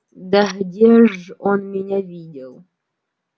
да где ж он меня видел